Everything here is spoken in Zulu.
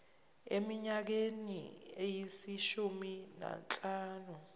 eminyakeni eyishumi nanhlanu